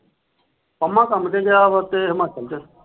ਪੰਮਾ ਕੰਮ ਤੇ ਗਿਆ ਵਾ ਉਥੇ ਹਿਮਾਚਲ ਚ।